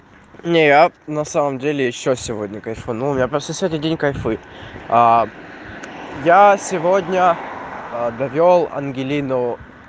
не я на самом деле ещё сегодня кайфанул я просто сегодня день кайфую а я сегодня довёл ангелину